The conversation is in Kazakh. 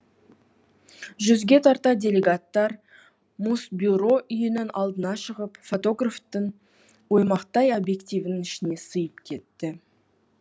жүзге тарта делегаттар мусбюро үйінің алдына шығып фотографтың оймақтай объективінің ішіне сыйып кетті